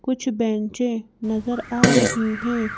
कुछ बेंचें नज़र आ रही हैं।